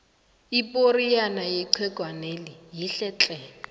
iporiyana yechegwaneli yinhle tle